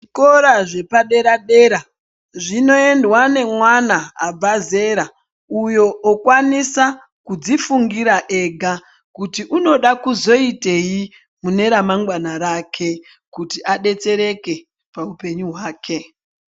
Zvikora zvepadera-dera zvinoendwa nemwana abva zera uyo okwanisa kudzifungira ega kuti unoda kuzoitei mune ramangwana rake. Kuti adetsereke paupenyu hwake.